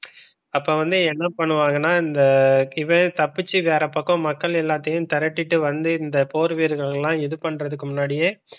அப்ப வந்து என்ன பண்ணுவாங்கன்னா இந்த இவ தப்பிச்சு வேற பக்கம் மக்கள் எல்லாத்தையும் திரட்டிக்கிட்டு வந்து இந்த போர்வீரர்கள் எல்லாம் இது பண்றதுக்கு முன்னாடியே